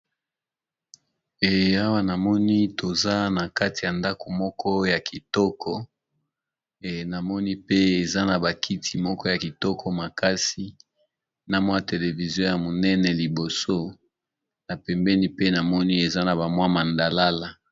Eyawa namoni toza na kati ya ndako moko ya kitoko namoni pe eza na bakiti moko ya kitoko makasi na mwa televizio ya monene liboso na pembeni pe namoni eza na ba mwa mandalala.